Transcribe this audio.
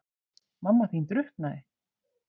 Mamma þín drukknaði.